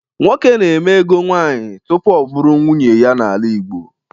Nwoke na-eme ego nwaanyị tupu ọ bụrụ nwunye ya n'ala Igbo.